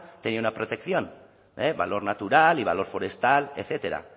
tenía una protección valor natural y valor forestal etcétera